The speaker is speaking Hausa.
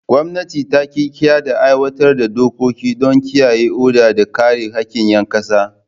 Gwamnati ta ƙirƙira da aiwatar da dokoki don kiyaye oda da kare haƙƙin ƴan ƙasa.